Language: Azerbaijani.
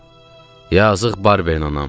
Yazıq Barbero Nanam.